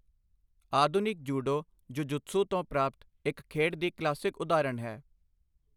ਆਧੁਨਿਕ judo jujutsu ਤੋਂ ਪ੍ਰਾਪਤ ਇੱਕ ਖੇਡ ਦੀ ਕਲਾਸਿਕ ਉਦਾਹਰਣ ਹੈ।